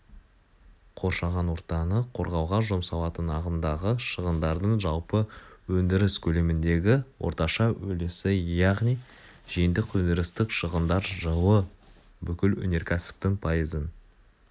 қоршаған ортаны қорғауға жұмсалатын ағымдағы шығындардың жалпы өндіріс көлеміндегі орташа үлесі яғни жиынтық өндірістік шығындар жылы бүкіл өнеркәсіптің пайызын